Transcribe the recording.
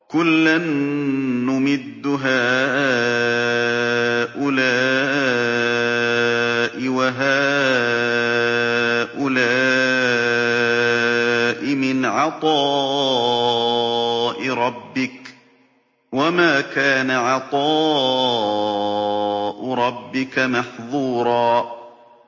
كُلًّا نُّمِدُّ هَٰؤُلَاءِ وَهَٰؤُلَاءِ مِنْ عَطَاءِ رَبِّكَ ۚ وَمَا كَانَ عَطَاءُ رَبِّكَ مَحْظُورًا